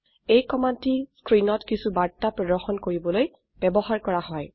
এই কমান্ডটি স্ক্ৰিনত কিছু বাৰ্তা প্ৰদৰ্শন কৰিবলৈ ব্যবহাৰ কৰা হয়